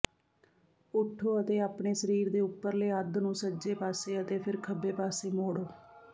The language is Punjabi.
ਉੱਠੋ ਅਤੇ ਆਪਣੇ ਸਰੀਰ ਦੇ ਉੱਪਰਲੇ ਅੱਧ ਨੂੰ ਸੱਜੇ ਪਾਸੇ ਅਤੇ ਫਿਰ ਖੱਬੇ ਪਾਸੇ ਮੋੜੋ